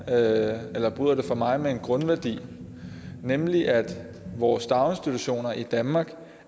af alt bryder det for mig at se med en grundværdi nemlig at vores daginstitutioner i danmark